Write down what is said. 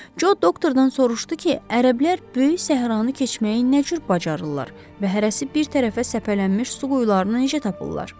Co doktdan soruşdu ki, ərəblər böyük səhranı keçməyi nə cür bacarırlar və hərəsi bir tərəfə səpələnmiş su quyularını necə tapırlar?